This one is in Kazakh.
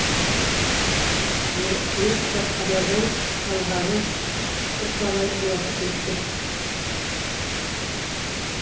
мені кітапханадан алғалы бірталай уақыт өтті